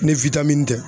Ni widamini tɛ